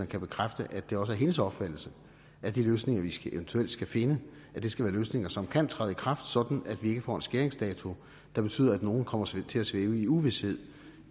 kan bekræfte at det også er hendes opfattelse at de løsninger vi eventuelt skal finde skal være løsninger som kan træde i kraft sådan at vi ikke får en skæringsdato der betyder at nogle kommer til til at svæve i uvished